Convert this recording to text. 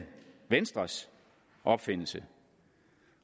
venstres opfindelse